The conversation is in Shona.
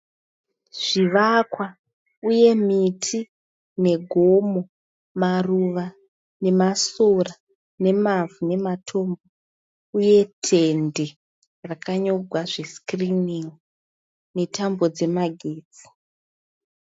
Zvivakwa uye miti negomo, maruva nemasora, nemavhu nematombo uye tende rakanyorwa zvescreening, netambo dzemagetsi.